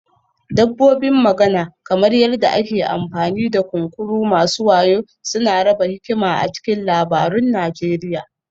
Dabbobin magana, kamar yadda ake amfani da kunkuru masu wayo suna raba hikima a cikin labarun Najeriya